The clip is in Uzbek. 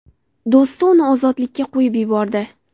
Do‘sti uni ozodlikka qo‘yib yubordi.